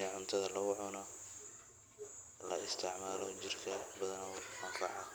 ee cuntada lagu cuno la isticmaalo badanaa jirka ayuuu ufucan yahay